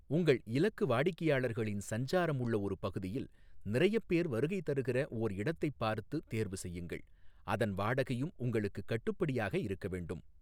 உங்கள் இலக்கு வாடிக்கையாளர்களின் சஞ்சாரம் உள்ள ஒரு பகுதியில் நிறையப் பேர் வருகைதருகிற ஓர் இடத்தைப் பார்த்து தேர்வு செய்யுங்கள், அதன் வாடகையும் உங்களுக்குக் கட்டுப்படியாக இருக்க வேண்டும்.